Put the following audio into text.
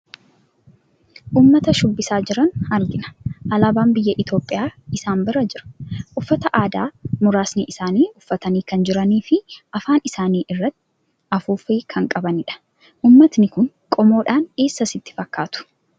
Uummata shubbisaa jiran argina. Alaabaan biyya Itoophiyaa isaan bira jira. Uffata aadaa muraasni isaani uffatanii kan jiranii fi afaan isaanii irraa afuuffee kan qabanidha. Uummatni kun qomoodhaan eessa sitti fakkaatu?